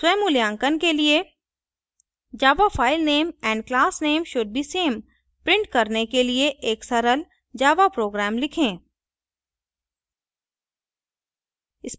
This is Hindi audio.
स्वमूल्यांकन के लिए java file name and class name should be same print करने के लिए एक सरल java program लिखें